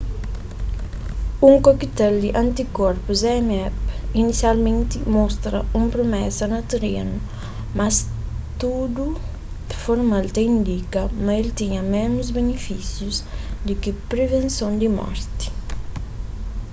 un cocktail di antikorpus zmapp inisialmenti mostra un promesa na terenu mas studu formal ta indika ma el tinha ménus binifísius di ki privenson di morti